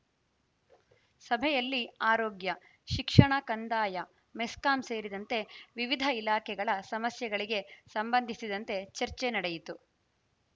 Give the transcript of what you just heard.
ಸಭೆಯಲ್ಲಿ ಆರೋಗ್ಯ ಶಿಕ್ಷಣ ಕಂದಾಯ ಮೆಸ್ಕಾಂ ಸೇರಿದಂತೆ ವಿವಿಧ ಇಲಾಖೆಗಳ ಸಮಸ್ಯೆಗಳಿಗೆ ಸಂಬಂಧಿಸಿದಂತೆ ಚರ್ಚೆ ನಡೆಯಿತು